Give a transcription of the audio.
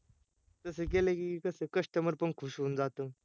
तस केल की कस customer पण खुश होऊन जातो